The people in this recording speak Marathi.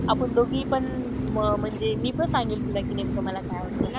आपण दोघी पण म्हणजे मी पण सांगेल तुला कि नेमकं मला काय आवडत.